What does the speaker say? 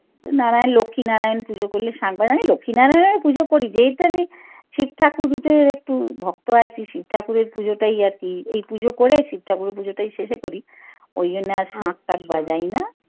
নারায়ন লক্ষি নারায়ন পুজো করলে শাখ বাজানি লক্ষি নারায়নের পুজো করি যেহেতু আমি শিবঠাকুরের একটু ভক্ত আছি শিব ঠাকুরের পুজোটাই আরকি এই পুজো করে শিব ঠাকুরের পুজো শেষে করি ওই জন্যে আর শাখ টাখ বাজাই না।